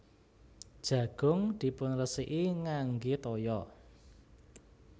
Jagung dipunresiki ngangge toya